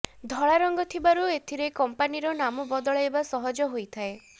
ଧଳା ରଙ୍ଗ ଥିବାରୁ ସେଥିରେ କମ୍ପାନୀର ନାମ ବଦଳାଇବା ସହଜ ହୋଇଥାଏ